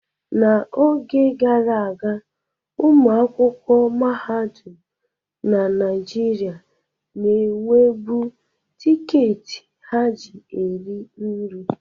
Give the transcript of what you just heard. N'oge gara aga, ụmụ akwụkwọ mahadum na Naịjirịa na-enwebu tiketi ha ji eri nri.